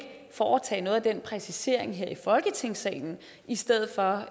foretage noget af den præcisering her i folketingssalen i stedet for